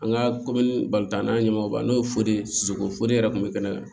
An ka komini bali an ɲɛmaaw kan n'o ye foli ye sogo foli yɛrɛ kun bɛ kɛnɛ kan